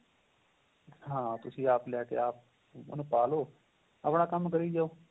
ਹਾਂ ਤੁਸੀਂ ਆਪ ਲੈਕੇ ਆਪ ਉਹਨੂੰ ਪਾਂ ਲਵੋ ਆਪਣਾਂ ਕੰਮ ਕਰੀ ਜਾਵੋ